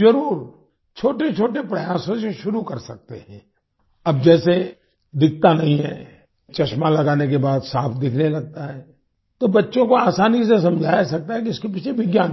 जरुर छोटेछोटे प्रयासों से शुरू कर सकते हैं अब जैसे दिखता नहीं है चश्मा लगाने के बाद साफ़ दिखने लगता है तो बच्चों को आसानी से समझाया सकता है कि इसके पीछे विज्ञान क्या है